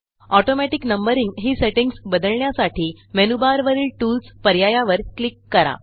automatic numberingही settings बदलण्यासाठी मेनूबारवरील Toolsपर्यायावर क्लिक करा